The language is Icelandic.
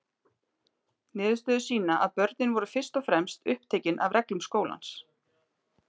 Niðurstöður sýna að börnin voru fyrst og fremst upptekin af reglum skólans.